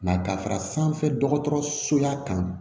ka fara sanfɛ dɔgɔtɔrɔsoya kan